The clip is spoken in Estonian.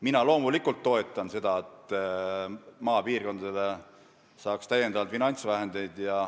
Mina loomulikult toetan seda, et maapiirkondadele saaks täiendavalt finantsvahendeid.